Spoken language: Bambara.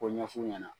K'o ɲɛf'u ɲɛna